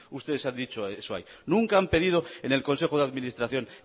ustedes eso ahí nunca han pedido en el consejo de administración